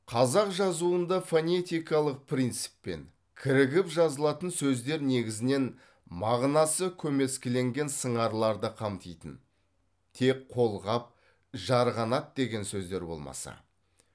қазақ жазуында фонетикалық принциппен кірігіп жазылатын сөздер негізінен мағынасы көмескіленген сыңарларды қамтитын тек қолғап жарғанат деген сөздер болмаса